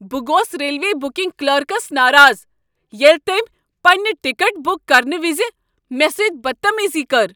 بہٕ گوس railway booking clerks ناراض ییٚلہ تٔمۍ پنٛنہِ ٹکٹ بٖک کرنہٕ وز مےٚ سۭتۍ بدتمیزی کٔر۔